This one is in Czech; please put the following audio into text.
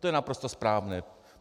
To je naprosto správné.